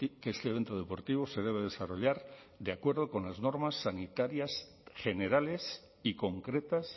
que este evento deportivo se debe desarrollar de acuerdo con las normas sanitarias generales y concretas